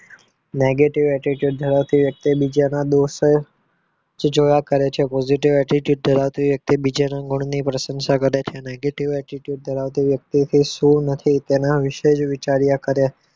Negative attitude ધરાવતી વ્યક્તિ બીજા ના દોષ જે જોયા કરે છે positive attitude ધરાવતી વ્યક્તિ બીજાના ગુણની પ્રશંસા કરે છે negative attitude ધરાવતી વ્યક્તિ થી શું નથી તેના વિશે જ વિચાર્યા કરે છે